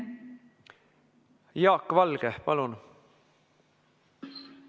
Jaak Valge, palun!